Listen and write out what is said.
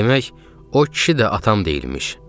Demək, o kişi də atam deyilmiş.